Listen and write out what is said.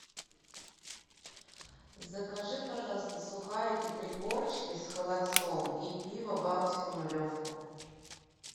закажи пожалуйста сухарики три корочки с холодцом и пиво балтику нулевку